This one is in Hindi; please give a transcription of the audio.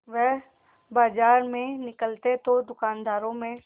वह बाजार में निकलते तो दूकानदारों में